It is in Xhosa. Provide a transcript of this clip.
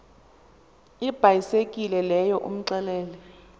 ibhayisekile leyo umxelele